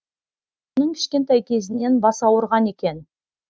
оның кішкентай кезінен басы ауырған екен